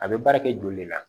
A bɛ baara kɛ joli le la